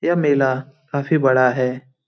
यह मेला काफ़ी बड़ा है।